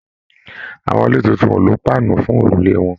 Àwọn ilé títún o lo paanu fún òrùlé wọn.